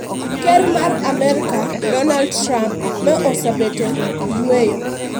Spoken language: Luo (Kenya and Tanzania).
Ker mar Amerka Dornald Trump ma osebet e yueyo.